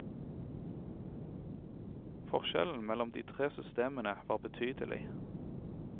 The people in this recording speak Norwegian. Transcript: Forskjellen mellom de tre systemene var betydelig.